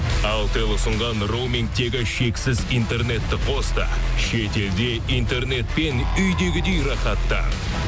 алтел ұсынған роумингтегі шексіз интернетті қос та шетелде интернетпен үйдегідей рахаттан